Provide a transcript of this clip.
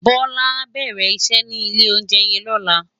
Bola á bèrè iṣè ni ilé óunjè yèn lòlá